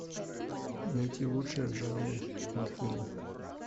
найти лучшее в жанре мультфильм